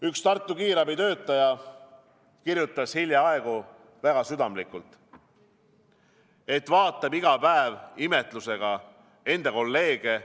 Üks Tartu kiirabi töötaja kirjutas hiljaaegu väga südamlikult, et vaatab iga päev imetlusega enda kolleege.